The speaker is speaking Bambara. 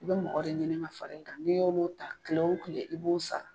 I bɛ mɔgɔ de ɲini ka fara i kan, ni y'olu ta kile o kile i b'olu sara